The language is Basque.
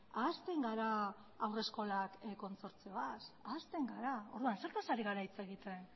ahazten gara haurreskolak kontsortzioaz ahazten gara orduan zertaz ari gara hitz egiten